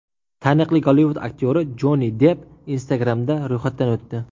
Taniqli Gollivud aktyori Jonni Depp Instagram’da ro‘yxatdan o‘tdi .